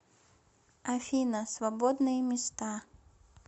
афина свободные места